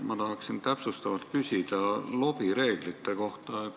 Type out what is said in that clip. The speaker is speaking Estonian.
Ma tahan täpsustavalt küsida lobireeglite kohta.